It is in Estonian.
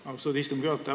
Austatud istungi juhataja!